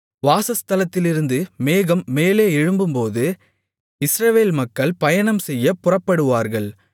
வாசஸ்தலத்திலிருந்து மேகம் மேலே எழும்பும்போது இஸ்ரவேல் மக்கள் பயணம்செய்யப் புறப்படுவார்கள்